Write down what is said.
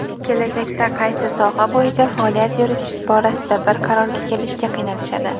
kelajakda qaysi soha bo‘yicha faoliyat yuritish borasida bir qarorga kelishga qiynalishadi.